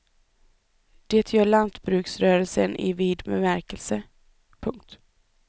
Det gör lantbruksrörelsen i vid bemärkelse. punkt